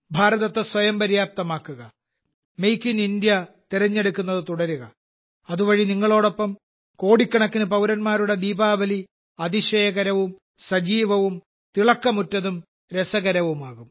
ഭാരതത്തെ സ്വയം പര്യാപ്തമാക്കുക മേക്ക് ഇൻ ഇന്ത്യ തിരഞ്ഞെടുക്കുന്നത് തുടരുക അതുവഴി നിങ്ങളോടൊപ്പം കോടിക്കണക്കിന് പൌരന്മാരുടെ ദീപാവലി അതിശയകരവും സജീവവും തിളക്കമുറ്റതും രസകരവുമാകും